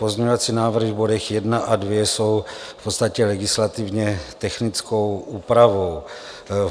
Pozměňovací návrhy v bodech 1 a 2 jsou v podstatě legislativně technickou úpravou.